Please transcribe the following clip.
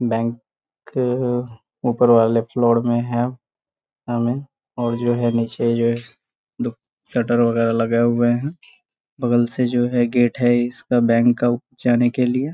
बैं कअ ऊपर वाले फ्लोड में है और जो है नीचे शटर बगेरा लगै हुये हैं बगल से जो है गेट है इसका बैंक का उ जाने के लिए।